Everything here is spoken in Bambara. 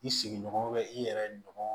I sigiɲɔgɔn i yɛrɛ ɲɔgɔn